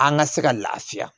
An ka se ka lafiya